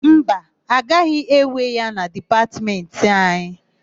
Mba, agaghị ewe ya na Dipatmentị anyị.